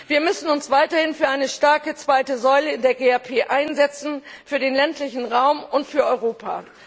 Wir müssen uns weiterhin für eine starke zweite Säule in der GAP einsetzen, für den ländlichen Raum und für Europa.